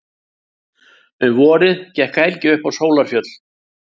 Um vorið gekk Helgi upp á Sólarfjöll.